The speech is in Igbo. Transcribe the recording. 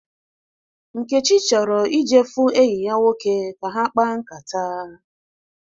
Nkechi chọrọ ije fu enyi ya nwoke ka ha kpaa nkata